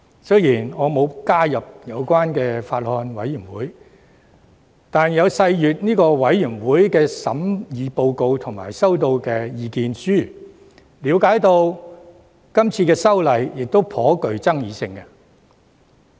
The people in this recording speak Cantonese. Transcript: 雖然我並未加入有關的法案委員會，卻有細閱法案委員會提交的審議報告及所收到的意見書，並了解這項修訂法案頗具爭議性。